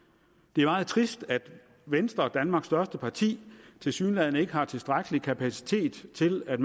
det er meget trist at venstre danmarks største parti tilsyneladende ikke har tilstrækkelig kapacitet til at